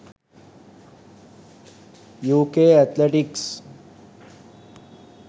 uk athletics